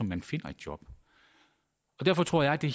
man finder et job derfor tror jeg det